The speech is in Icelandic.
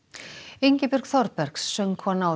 Ingibjörg Þorbergs söngkona og